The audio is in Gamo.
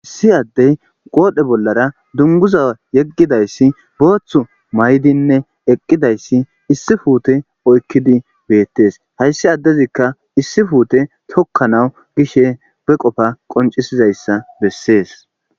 issi addey qoodhe bollara dunguza yeggidayssi booththu may7dinne eqqidayssi issi fuute oykkidi beettes hayssi addezikka issi puute tokkanawu gishe be qofa qoncisizayssa bessees.